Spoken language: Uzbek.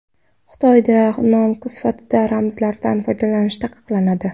Xitoyda nom sifatida ramzlardan foydalanish taqiqlanadi.